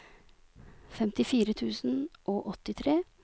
femtifire tusen og åttitre